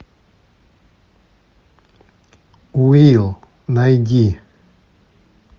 уилл найди